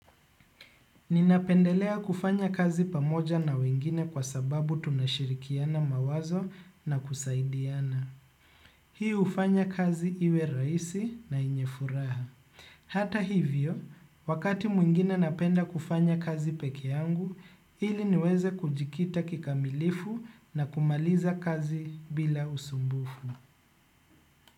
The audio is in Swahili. Ninapendelea kufanya kazi pamoja na wengine kwa sababu tunashirikiana mawazo na kusaidiana. Ninapendelea kufanya kazi pamoja na wengine kwa sababu tunashirikiana mawazo na kusaidiana. Hata hivyo, wakati mwingine napenda kufanya kazi peke yangu, ili niweze kujikita kikamilifu na kumaliza kazi bila usumbufu.